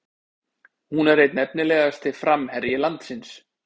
Hún er einn efnilegasti framherji landsins